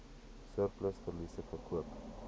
surplus verliese verkoop